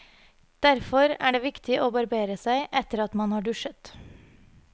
Derfor er det viktig å barbere seg etter at man har dusjet.